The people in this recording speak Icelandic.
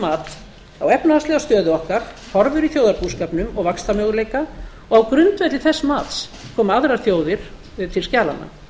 mat á efnahagslega stöðu okkar horfur í þjóðarbúskapnum og vaxtarmöguleika og á grundvelli þess mats koma aðrar þjóðir til skjalanna